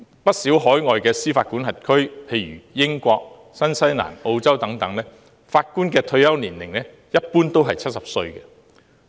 不少海外司法管轄區，例如英國、新西蘭、澳洲等法官的退休年齡，一般都是70歲。